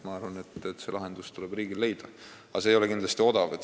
Ma arvan, et see lahendus tuleb riigil leida, aga see ei ole kindlasti odav.